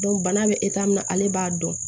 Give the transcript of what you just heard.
bana bɛ min na ale b'a dɔn